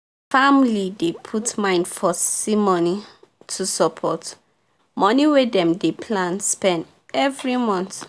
the family dey put mind for ssi money to support money wey dem dey spend every month